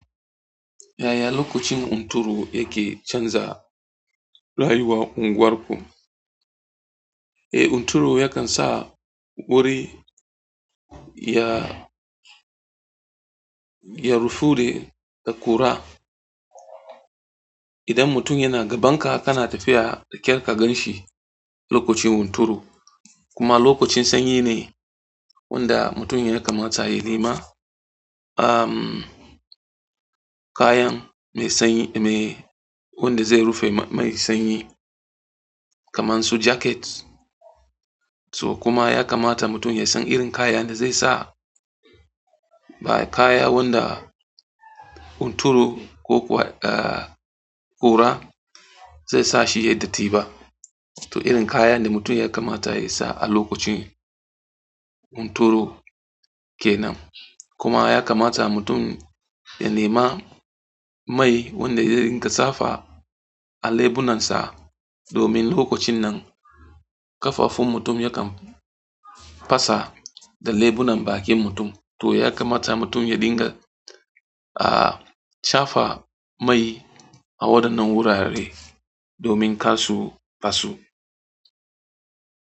Yaya lokacin hunturu yake canza rayuwar unguwarku? Eh, hunturu yakan sa wuri ya, ya rufude da ƙura. Idan mutum yana gaban ka, kana tafiya da ƙyar ka gan shi lokacin hunturu. Kuma lokacin sanyi ne wanda mutum ya kamata ya nema, am, kayan mai sanyi mai, wanda zai rufe mai sanyi kamar su jacket. To kuma ya kamata mutum ya san irin kayan da zai sa ba kayan wanda hunturu ko kuwa, eh, ƙura zai sa shi ya yi datti ba. To irin kayan da mutum ya kamata ya sa a lokacin hunturu ke nan. Kuma ya kamata mutum ya nema mai wanda zai dinga shafa a leɓunan sa domin lokacin nan ƙafafun mutum yakan fasa da leɓunan bakin mutum. To ya kamata mutum ya dinga, ah, shafa mai a waɗannan wurare domin kar su faso.